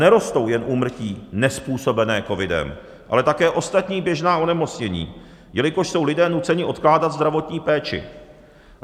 Nerostou jen úmrtí nezpůsobené covidem, ale také ostatní běžná onemocnění, jelikož jsou lidé nuceni odkládat zdravotní péči.